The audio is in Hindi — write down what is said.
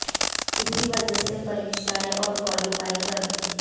इसी वजह से परीक्षा दी और क्वालीफाई कर ली